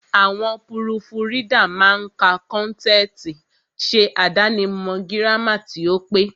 Àwọn púrùfù ridà máa ka kọ́ntẹ̀tì, ṣe àdáni mọ̀ gírámà tí ó pé.